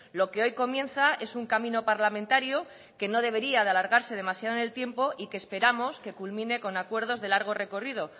lo que hoy comienza es un camino parlamentario que no debería de alargarse demasiado en el tiempo y que esperamos que culmine con acuerdos de largo recorrido